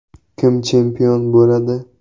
Kim chempion bo‘ladi?